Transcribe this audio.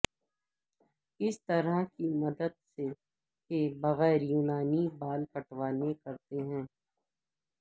کس طرح کی مدد کے بغیر یونانی بال کٹوانے کرتے ہیں